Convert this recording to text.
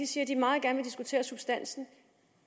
siger at de meget gerne vil diskutere substansen